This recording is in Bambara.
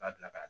U b'a bila ka